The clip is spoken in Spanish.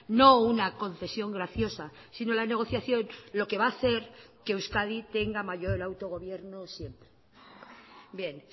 no una concesión graciosa sino la negociación lo que va a hacer que euskadi tenga mayor autogobierno siempre bien